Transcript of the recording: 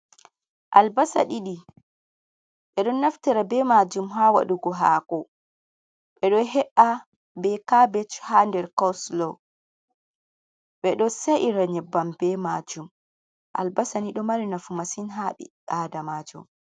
Albarsa 2 be don naftira be majum ha wadugo hako, be don he’a be kabech ha nder costlow be don sa’ira nyebbam be majum albasa ni do mari nafu masin habi adamajo.